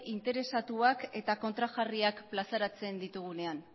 interesatuak eta kontrajarriak plazaratzen ditugunean